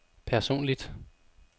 personligt